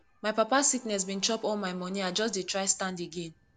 my papa sickness bin chop all my moni i just dey try stand again